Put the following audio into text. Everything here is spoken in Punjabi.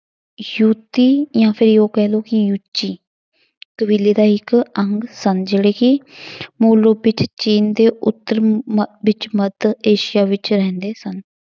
ਯੂਤੀ ਕਹਿ ਲਓ ਕਿ ਯੂਚੀ ਕਬੀਲੇ ਦਾ ਇੱਕ ਅੰਗ ਸਨ ਜਿਹੜੇ ਕਿ ਮੂਲ ਰੂਪ ਵਿੱਚ ਚੀਨ ਦੇ ਉੱਤਰ ਮ~ ਵਿੱਚ ਮੱਧ ਏਸੀਆ ਵਿੱਚ ਰਹਿੰਦੇ ਸਨ।